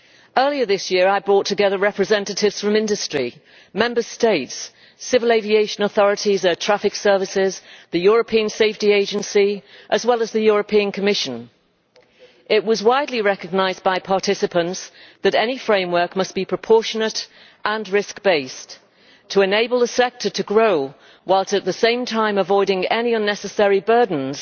Earlier this year I brought together representatives from industry, Member States, civil aviation authorities, air traffic services, the European Safety Agency and the Commission. It was widely recognised by participants that any framework must be proportionate and risk based to enable the sector to grow while, at the same time, avoiding any unnecessary burdens.